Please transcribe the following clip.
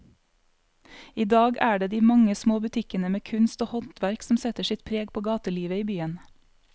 I dag er det de mange små butikkene med kunst og håndverk som setter sitt preg på gatelivet i byen.